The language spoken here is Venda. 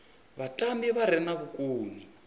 vhatambi vha re na vhukoni